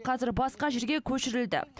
қазір басқа жерге көшірілді